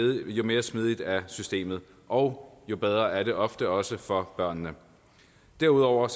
jo mere smidigt er systemet og jo bedre er det ofte også for børnene derudover